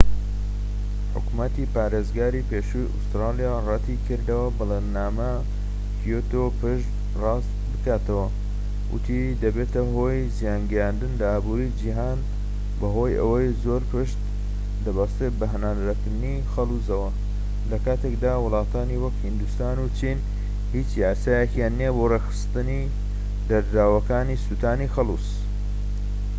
حکومەتی پارێزگاری پێشووی ئوستورالیا رەتی کردەوە بەڵێننامەی کیۆتۆ پشت ڕاست بکاتەوە وتی دەبێتە هۆی زیانگەیاندن لە ئابوری جیهان بەهۆی ئەوەی زۆر پشت دەبەستێت بە هەناردەکردنی خەڵوزەوە لەکاتێکدا وڵاتانی وەکو هیندستان و چین هیچ یاسایەکیان نیە بۆ ڕێکخستنی دەردراوەکانی سوتانی خەلوز